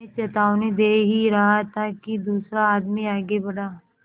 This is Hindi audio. मैं चेतावनी दे ही रहा था कि दूसरा आदमी आगे बढ़ा